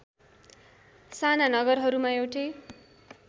साना नगरहरूमा एउटै